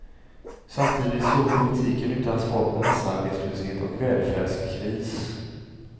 Samtidigt står politiken utan svar på massarbetslöshet och välfärdskris.